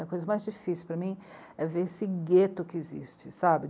A coisa mais difícil para mim é ver esse gueto que existe, sabe?